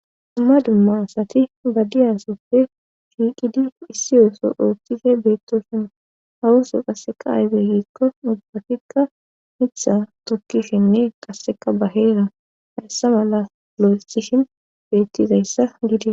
Amma dummasati badiyasoppe shiiqidi issiyooso ooththife beettoshuna hawuso qasseqa ayge giikko nubbatikka mitha tokkishinne qasseka baheera hayssa mala lo'estishin bettizayssa gidi.